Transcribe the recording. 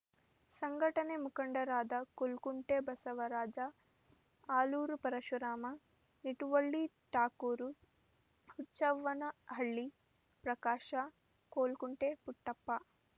ಸಂಘಟನೆ ಮುಖಂಡರಾದ ಕುಲಕುಂಟೆ ಬಸವರಾಜ ಆಲೂರು ಪರಶುರಾಮ ನಿಟುವಳ್ಳಿ ಠಾಕೂರು ಹುಚ್ಚವ್ವನಹಳ್ಳಿ ಪ್ರಕಾಶ ಕೋಲ್ಕುಂಟೆ ಪುಟ್ಟಪ್ಪ